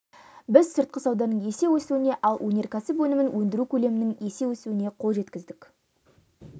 біз сыртқы сауданың есе өсуіне ал өнеркәсіп өнімін өндіру көлемінің есе өсуіне қол жеткіздік